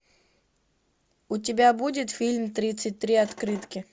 у тебя будет фильм тридцать три открытки